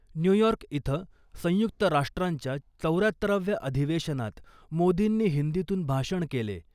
New York इथं संयुक्त राष्ट्रांच्या चौर्यात्तराव्या अधिवेशनात मोदींनी हिंदीतून भाषण केले .